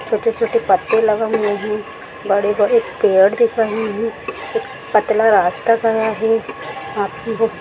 छोटे छोटे पत्ते लगे हुए हैं बड़े बड़े पेड़ दिख रहे हैं एक पतला रास्ता गया है वहा पे वो--